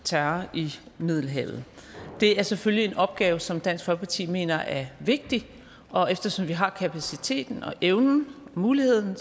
terror i middelhavet det er selvfølgelig en opgave som dansk folkeparti mener er vigtig og eftersom vi har kapaciteten og evnen og muligheden